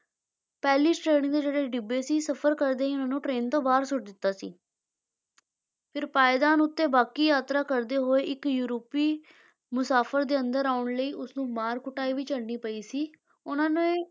ਪਹਿਲੀ ਸ਼੍ਰੇਣੀ ਦੇ ਜਿਹੜੇ ਡਿੱਬੇ ਸੀ ਸਫ਼ਰ ਕਰਦੇ ਹੀ ਉਹਨਾਂ ਨੂੰ train ਤੋਂ ਬਾਹਰ ਸੁੱਟ ਦਿੱਤਾ ਸੀ ਫਿਰ ਪਾਏਦਾਨ ਉੱਤੇ ਬਾਕੀ ਯਾਤਰਾ ਕਰਦੇ ਹੋਏ ਇੱਕ ਯੂਰਪੀ ਮੁਸਾਫਰ ਦੇ ਅੰਦਰ ਆਉਣ ਲਈ ਉਸਨੂੰ ਮਾਰ ਕੁਟਾਈ ਵੀ ਝੱਲਣੀ ਪਈ ਸੀ, ਉਨ੍ਹਾਂ ਨੇ